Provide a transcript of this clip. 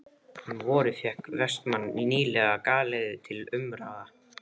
Um vorið fékk Vestmann nýlega galeiðu til umráða.